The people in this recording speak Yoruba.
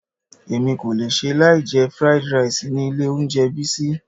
Èmi kò lè ṣe láì jẹ fried rice ni ilé oúnjẹ Bisi.